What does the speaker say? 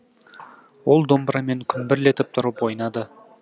ол домбырамен күмбірлетіп тұрып ойналады